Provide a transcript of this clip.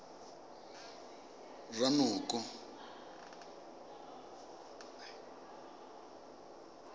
ranoko